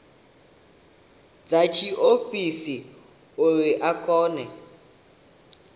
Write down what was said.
dza tshiofisi uri a kone